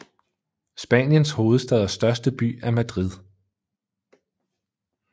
Spaniens hovedstad og største by er Madrid